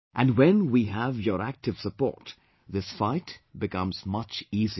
And when we have your active support, this fight becomes much easier